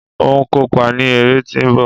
n o kópa ni ere ti nbọ